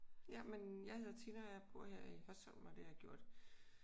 Jamen jeg hedder Tina og jeg bor her i Hørsholm og det har jeg gjort